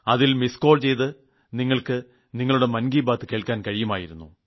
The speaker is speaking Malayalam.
അതിൽ മിസിഡ് കോൾ ചെയ്ത് നിങ്ങൾക്ക് മൻ കി ബാത്ത് കേൾക്കാൻ കഴിയുമായിരുന്നു